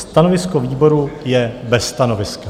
Stanovisko výboru je - bez stanoviska.